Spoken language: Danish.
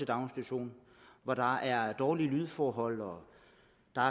daginstitution hvor der var dårlige lydforhold og